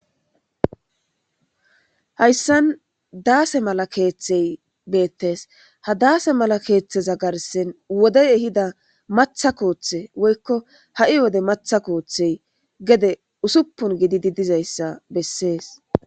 hayssan daase mala keeththey beettees ha daase mala keeththeza garsen wodey ehida matha kooththe woykko ha'i wode matha koothey gede usuppun gididi dizayssa bessees